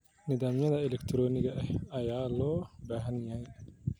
Nidaamyada elektarooniga ah ayaa loo baahan yahay.